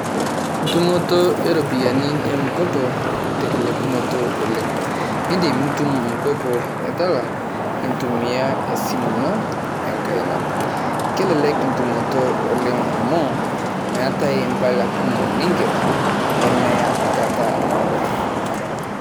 Entumoto e ropiyiani e m-kopo telelekunoto oleng. Idim nitum m-kopo e Tala intumia e simu ino enkaina. Kelelek entumoto oleng amu meetae mpala kumok ning`er nemeya enkata naado.